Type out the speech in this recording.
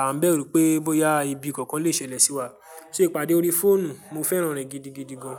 à ń bẹ̀rù pé bóyá ibi kankan lè ṣẹlẹ̀ sí wa. Ṣé ìpàdé lórí fóònù, mo fẹ́ràn rẹ̀ gidigidi gan.